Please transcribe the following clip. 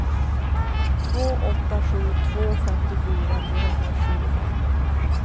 två åtta sju två femtiofyra trehundratjugofem